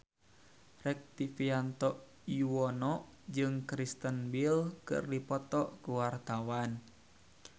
Rektivianto Yoewono jeung Kristen Bell keur dipoto ku wartawan